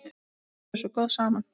Þið voruð svo góð saman.